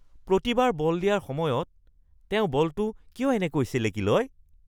প্ৰতিবাৰ ball দিয়াৰ সময়ত তেওঁ বলটো এনেকৈ কিয় চেলেকি লয়?